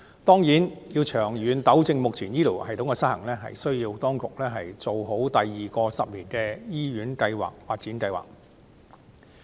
當然，當局要長遠糾正目前醫療系統的失衡，就須做好第二個十年醫院發展計劃。